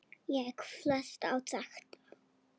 Ég fellst á þetta.